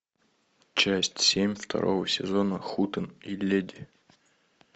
часть семь второго сезона хутен и леди